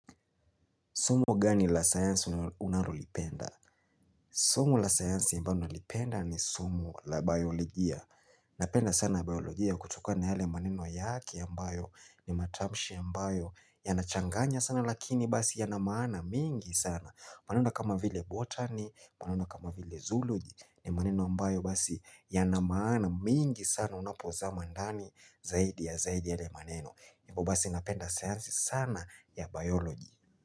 Somo gani la science unalolipenda? Somo la science ambayo nalipenda ni somo la biologia. Napenda sana biologia kutokana na yale maneno yake ambayo ni matamshi ambayo yanachanganya sana lakini basi yana maana mingi sana. Unaona kama vile botani, maneno kama vile zologi ni maneno ambayo basi yana maana mingi sana unapozama ndani zaidi ya zaidi yale maneno. Hivo basi napenda science sana ya biologi.